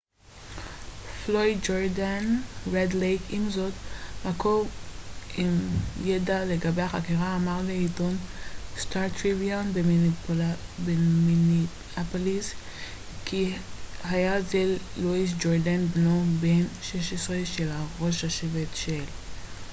עם זאת מקור עם ידע לגבי החקירה אמר לעיתון סטאר-טריביון במיניאפוליס כי היה זה לואיס ג'ורדיין בנו בן ה-16 של ראש השבט של red lake פלויד ג'ורדיין